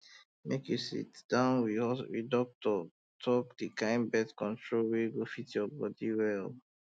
make you um sit down with doctor talk the kind birth control wey um go fit you well